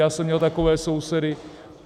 Já jsem měl takové sousedy.